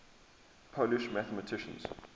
polish mathematicians